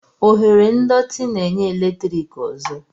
Oghere ndọtị na-enye eletrik ọzọ.